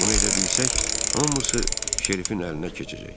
Bunu edə bilsək, hamısı Şerifin əlinə keçəcək.